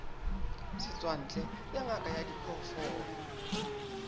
setswantle ya ngaka ya diphoofolo